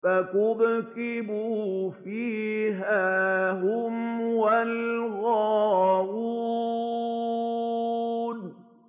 فَكُبْكِبُوا فِيهَا هُمْ وَالْغَاوُونَ